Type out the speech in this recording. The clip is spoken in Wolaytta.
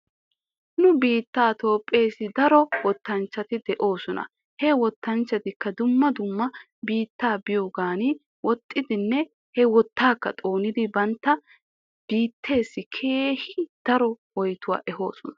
Nu biittee toophpheessi daro wottanchchati de'oosona. he wottanchchatikka dumma dumma biittata biyoogan woxxidinne he wottaaka xoonidi bantta biitteessi keehi daro woyttuwaa ehisoosona.